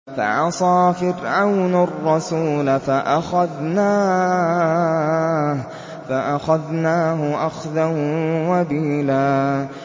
فَعَصَىٰ فِرْعَوْنُ الرَّسُولَ فَأَخَذْنَاهُ أَخْذًا وَبِيلًا